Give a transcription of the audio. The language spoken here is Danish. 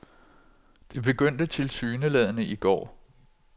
Det begyndte tilsyneladende i går.